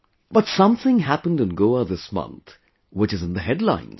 But something happened in Goa this month, which is in the headlines